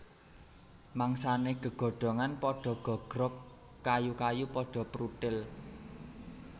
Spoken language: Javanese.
Mangsané gegodhongan padha gogrog kayu kayu padha pruthil